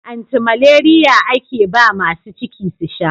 Anti malariya ake ba masu ciki su sha.